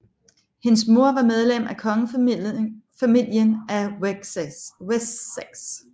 Hendes mor var medlem af kongefamilien af Wessex